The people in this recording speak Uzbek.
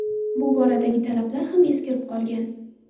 Bu boradagi talablar ham eskirib qolgan.